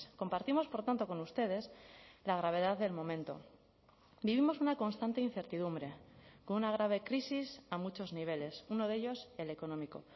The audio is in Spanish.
compartimos por tanto con ustedes la gravedad del momento vivimos una constante incertidumbre con una grave crisis a muchos niveles uno de ellos el económico